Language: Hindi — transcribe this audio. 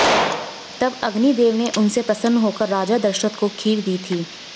तब अग्नि देव ने उनसे प्रसन्न होकर राजा दशरथ को खीर दी थी